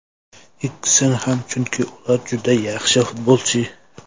Ikkisini ham, chunki ular juda yaxshi futbolchi.